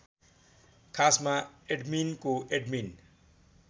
खासमा एडमिनको एडमिन